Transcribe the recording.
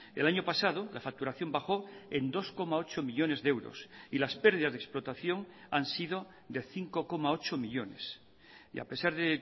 el año pasado la facturación bajó en dos coma ocho millónes de euros y las pérdidas de explotación han sido de cinco coma ocho millónes y a pesar de